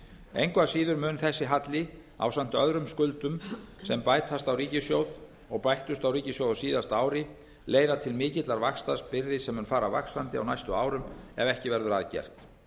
engu að síður mun þessi halli ásamt öðrum skuldum sem bætast á ríkissjóð og bættust á ríkissjóð á síðasta ári leiða til mikillar vaxtabyrði sem mun fara vaxandi á næstu árum ef ekki verður að gert